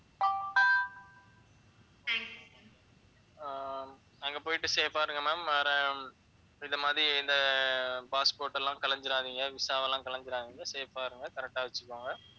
ஆஹ் அங்க போயிட்டு safe ஆ இருங்க ma'am வேற இந்த மாதிரி இந்த அஹ் passport எல்லாம் கலைஞ்சிராதீங்க visa எல்லாம் கலைஞ்சிராதீங்க safe ஆ இருங்க correct ஆ வச்சுக்கோங்க